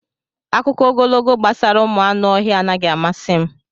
Akụkọ ogologo gbasara ụmụ anụ ọhịa anaghị amasị m.